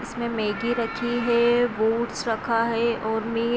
इसमें मैगी रखी है ओट्स रखा है और में--